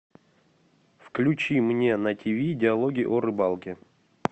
включи мне на тв диалоги о рыбалке